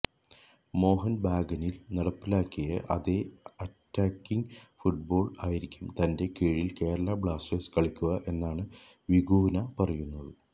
മോഹന്ബഗാനില് നടപ്പിലാക്കിയ അതേ attacking football ആയിരിക്കും തന്റെ കീഴില് കേരള ബ്ലാസ്റ്റേഴ്സ് കളിക്കുക എന്നാണ് വികൂന പറയുന്നത്